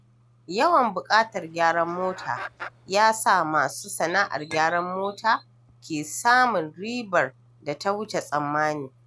Yawan buƙatar gyaran mota ya sa masu sana'ar gyaran mota ke samun ribar da ta wuce tsammani.